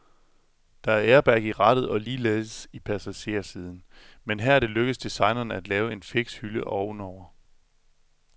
Der er airbag i rattet og ligeledes i passagersiden, men her er det lykkedes designerne at lave en fiks lille hylde ovenover.